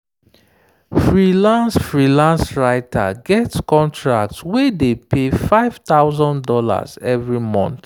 freelance freelance writer get contract wey dey pay five thousand dollars every month.